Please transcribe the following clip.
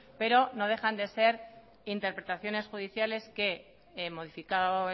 pero no dejan de ser interpretaciones judiciales que modificado